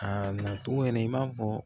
A nacogo yɛrɛ i b'a fɔ